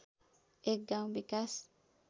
एक गाउँ विकास